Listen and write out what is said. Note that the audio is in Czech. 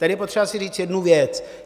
Tady je potřeba si říct jednu věc.